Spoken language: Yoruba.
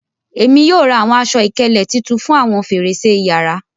Ẹ̀mi yóò rá awọn àṣọ-ìkẹlẹ̀ títún fún awọn fẹ̀rẹ̀ṣẹ̀ ìyàrà.